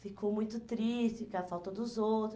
Ficou muito triste com a falta dos outros.